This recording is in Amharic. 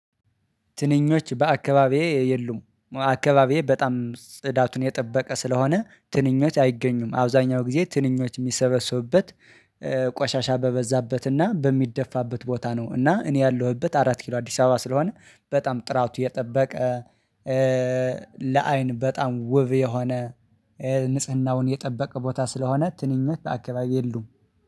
ትንኞች በአካባቢዬ የሉም አካባቢዬ በጣም ጽዳቱን የጠበቀ ስለሆነ ትንኞች አይገኙም አብዛኛው ጊዜ ትንኞች የሚሰበሰቡበት ቆሻሻ በበዛበትና በሚደፋበት ቦታ ነው። እና እኔ ያለሁበት አራት ኪሎ አዲስ አበባ ስለሆነ በጣም ጥራቱ የጠበቀ። ለአይን በጣም ውብ የሆነ ንጽህናውን የጠበቀ ቦታ ስለሆነ ትንኝ አክባቢ የሉም